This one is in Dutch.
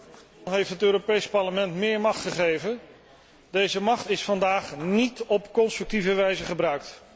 Men heeft het Europees Parlement meer macht gegeven, deze macht is vandaag niet op constructieve wijze gebruikt.